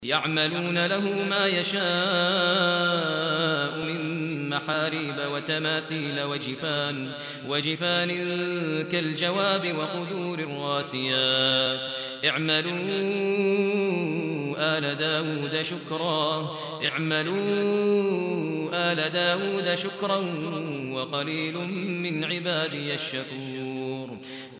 يَعْمَلُونَ لَهُ مَا يَشَاءُ مِن مَّحَارِيبَ وَتَمَاثِيلَ وَجِفَانٍ كَالْجَوَابِ وَقُدُورٍ رَّاسِيَاتٍ ۚ اعْمَلُوا آلَ دَاوُودَ شُكْرًا ۚ وَقَلِيلٌ مِّنْ عِبَادِيَ الشَّكُورُ